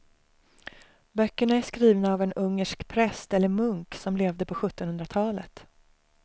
Böckerna är skrivna av en ungersk präst eller munk som levde på sjuttonhundratalet.